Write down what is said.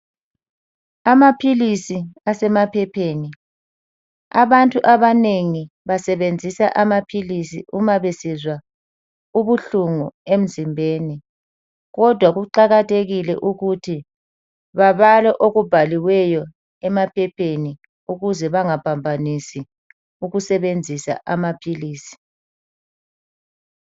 Aphilisi asemaphepheni abantu abanengi basebenzi amaphilisi uma besizwa ubuhlungu emzimbeni kodwa kuqakathekile ukuthi babale okubhaliweyo emaphepheni ukuze bengaphambanisi ukusebenzisa amaphilisi.